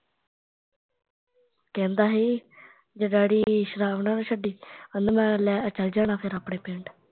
ਕਹਿੰਦਾ ਸੀ ਜੇ ਡੈਡੀ ਸ਼ਰਾਬ ਨਾ ਨਾ ਛੱਡੀ, ਕਹਿੰਦਾ ਮੈਂ ਲੈ ਚੱਲ ਜਾਣਾ ਫਿਰ ਆਪਣੇ ਪਿੰਡ